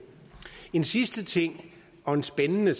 en sidste ting og en spændende